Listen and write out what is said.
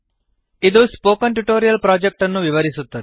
ಇದು spoken tutorial project ಅನ್ನು ವಿವರಿಸುತ್ತದೆ